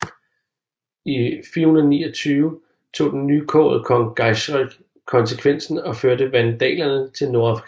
I 429 tog den nykårede kong Geiserik konsekvensen og førte vandalerne til Nordafrika